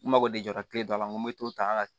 N mago de jɔra kile dɔ la n ko n be to tan